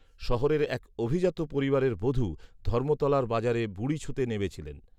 শহরের এক অভিজাত পরিবারের বধূ ধর্মতলার বাজারে বুড়ি ছুঁতে নেমেছিলেন